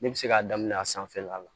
Ne bɛ se k'a daminɛ a sanfɛla la